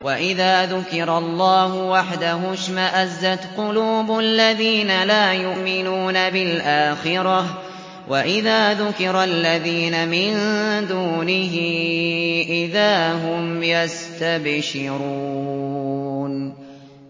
وَإِذَا ذُكِرَ اللَّهُ وَحْدَهُ اشْمَأَزَّتْ قُلُوبُ الَّذِينَ لَا يُؤْمِنُونَ بِالْآخِرَةِ ۖ وَإِذَا ذُكِرَ الَّذِينَ مِن دُونِهِ إِذَا هُمْ يَسْتَبْشِرُونَ